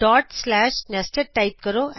dot slash nested type ਕਰੋ